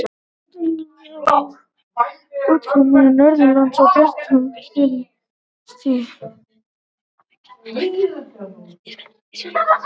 Í norðanátt er þungbúið og oft úrkomusamt norðanlands, en bjart og þurrt syðra.